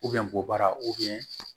bɔ baara